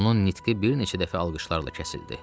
Onun nitqi bir neçə dəfə alqışlarla kəsildi.